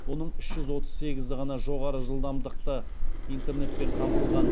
оның үш жүз отыз сегізі ғана жоғары жылдамдықты интернетпен қамтылған